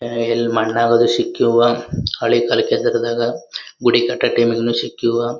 ಆಹ್ಹ್ ಎಲ್ ಮಣ್ಣ್ ಆಗೋದಕ್ ಸಿಕ್ಕಿವೋ ಹಳಿ ಕಲ್ ಕೇಸರಿದಾಗ ಗೂಡು ಕಟ್ಟೋ ಟೈಮ್ ನಾಗ್ ಸಿಕ್ಕಿವೋ